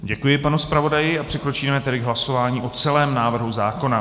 Děkuji panu zpravodaji a přikročíme tedy k hlasování o celém návrhu zákona.